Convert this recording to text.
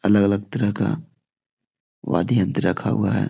अलग-अलग तरह का वादय यंत्र रखा हुआ है ।